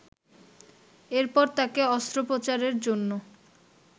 এরপর তাকে অস্ত্রোপচারের জন্য